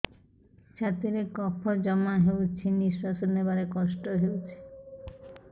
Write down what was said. ଛାତିରେ କଫ ଜମା ହୋଇଛି ନିଶ୍ୱାସ ନେବାରେ କଷ୍ଟ ହେଉଛି